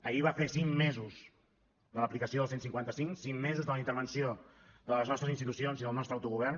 ahir va fer cinc mesos de l’aplicació del cent i cinquanta cinc cinc mesos de la intervenció de les nostres institucions i del nostre autogovern